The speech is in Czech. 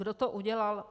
Kdo to udělal?